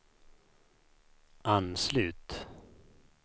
anslut